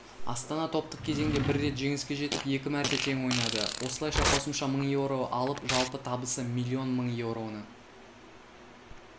астана топтық кезеңде бір рет жеңіске жетіп екі мәрте тең ойнады осылайша қосымша мың еуро алып жалпы табысы миллион мың еуроны